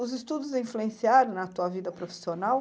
Os estudos influenciaram na tua vida profissional?